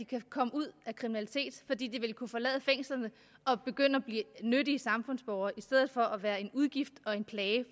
kan komme ud af kriminalitet fordi de vil kunne forlade fængslerne og begynde at blive nyttige samfundsborgere i stedet for at være en udgift og en plage